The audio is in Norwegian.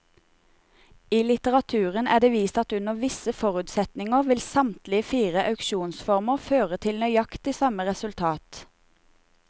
I litteraturen er det vist at under visse forutsetninger vil samtlige fire auksjonsformer føre til nøyaktig samme resultat.